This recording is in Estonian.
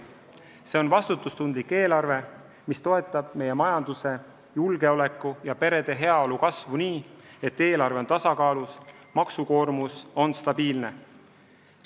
See on vastutustundlik eelarve, mis toetab meie majanduse, julgeoleku ja perede heaolu kasvu nii, et eelarve on tasakaalus ja maksukoormus stabiilne.